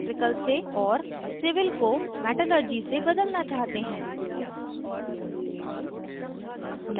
और civil को metallurgy से बदलना चाहते हैं